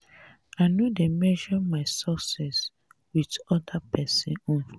i no dey measure my success wit anoda pesin own.